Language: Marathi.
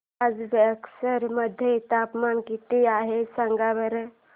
आज बक्सर मध्ये तापमान किती आहे सांगा बरं